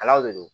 Ala de do